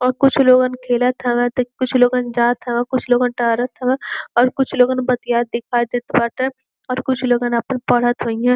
अउर कुछ लोगन खेलत हवें त कुछ लोगन जात हवें कुछ लोग टहरत हवं और कुछ लोगन बतियात दिखाई देत बाटे और कुछ लोगन अपन पढ़त होइ हेन।